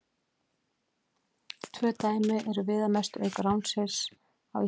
Tvö dæmi eru viðamest, auk ránsins á Íslandi.